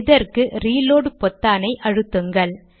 இதற்கு ரீலோட் பொத்தானை அழுத்துங்கள்